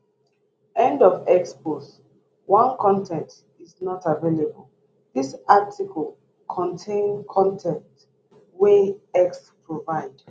end of x post 1 con ten t is not available dis article contain con ten t wey x provide